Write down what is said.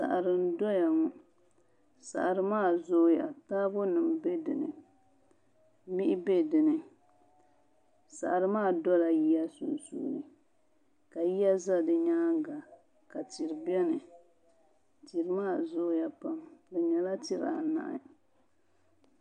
Saɣari n doya ŋɔ saɣari maa zooya taabo nim bɛ dinni mihi bɛ dinni saɣari maa dola yiya sunsuuni ka yiya ʒɛ di nyaanga ka duri biɛni duri maa zooya pam di nyɛla duri anahi